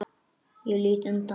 Ég lít undan.